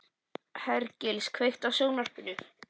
Hergils, kveiktu á sjónvarpinu.